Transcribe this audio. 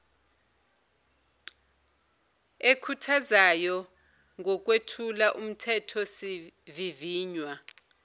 ekhuthazayo ngokwethula umthethosivivinywa